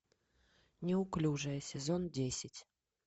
неуклюжая сезон десять